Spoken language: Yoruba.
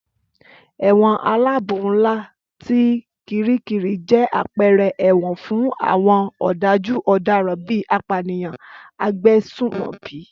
Ẹ̀wọ̀n aláàbò ńlá ti Kiríkirì jẹ́ àpẹẹrẹ ẹ̀wọ̀n fún àwọn ọ̀dájú ọ̀daràn bíi apànìyàn, agbésùmọ̀bí